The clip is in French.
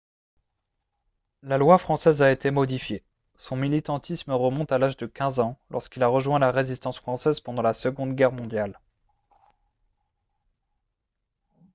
la loi française a été modifiée son militantisme remonte à l'âge de 15 ans lorsqu'il a rejoint la résistance française pendant la seconde guerre mondiale